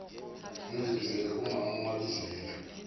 ningibizele umaam mabizela